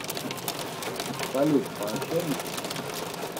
салют пообщаемся